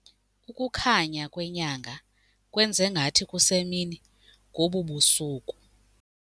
Ukukhanya kwenyanga kwenze ngathi kusemini ngobu busuku.